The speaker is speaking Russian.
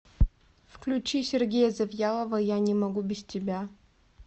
включи сергея завьялова я не могу без тебя